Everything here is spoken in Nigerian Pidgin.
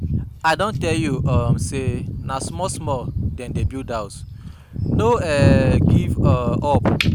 I don tell you um sey na small-small dem dey build house, no um give um up.